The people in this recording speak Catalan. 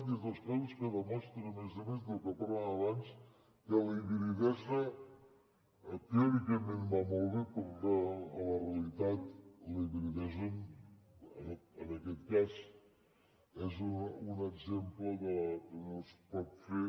i és dels casos que demostra a més a més del que parlàvem abans que la hibridesa teòricament va molt bé però en la realitat la hibridesa en aquest cas és un exemple del que no es pot fer